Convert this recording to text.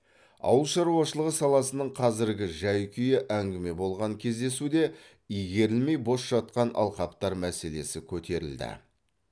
ауыл шаруашылығы саласының қазіргі жай күйі әңгіме болған кездесуде игерілмей бос жатқан алқаптар мәселесі көтерілді